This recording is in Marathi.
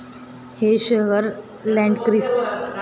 हे शहर लँडक्रीस वुरझबर्गचे प्रशासकीय केन्द्र असले तरी ते त्याचा भाग नाही.